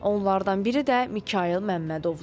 Onlardan biri də Mikayıl Məmmədovdur.